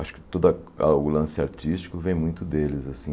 Acho que toda a o lance artístico vem muito deles assim.